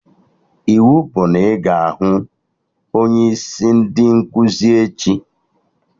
Iwu bụ na ị ga-ahụ onye isi ndị nkụzi echi!